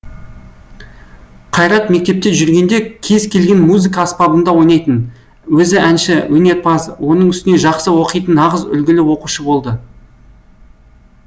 қайрат мектепте жүргенде кез келген музыка аспабында ойнайтын өзі әнші өнерпаз оның үстіне жақсы оқитын нағыз үлгілі оқушы болады